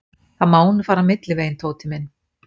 Það má nú fara milliveginn, Tóti minn.